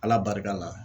Ala barika la